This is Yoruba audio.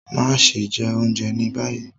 Maṣe jẹ ounjẹ ni bayi